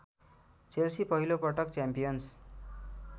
Chelsea पहिलोपटक champions